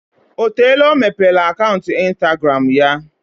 O teela ọ mepere akaụntụ instagramụ ya?